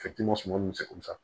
Fitini suman munnu seko sa